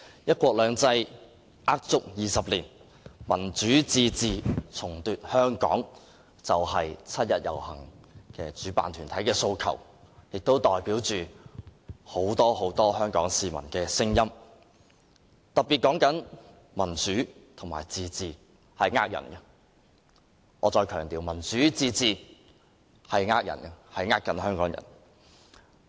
"一國兩制呃足廿年；民主自治重奪香港"是今年七一遊行主辦團體的訴求，亦代表很多香港市民的聲音，當中特別提到民主和自治是騙人的，我再強調，民主和自治是騙人的，欺騙香港人。